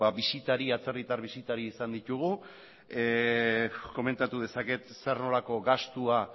atzerritar bisitari izan ditugu komentatu dezaket zer nolako gastua